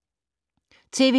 TV 2